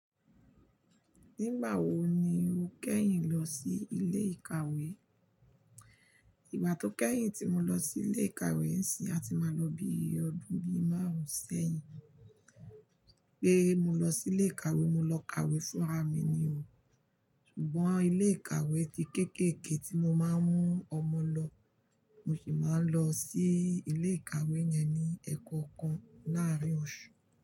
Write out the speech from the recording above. Nígbà wo ni o kẹ́yìn lọ sí ilé ìkàwé? Ìgbà tó kẹ́yìn tí mo lọ sí ilé ìkàwé n sì, a ti máa lọ bí ọdún bí márùn-ún sẹ́yìn. Pé mo lọ sí ilé ìkàwé, mo lọ kàwé fúnra mi ni o. Ṣùgbọ́n ilé ìkàwé ti kéékèèké tí mo máa ń mú ọmọ lọ, mo sì máa ń lọ sí ilé ìkàwé yẹn ní ẹ̀kọokan láàárín oṣù.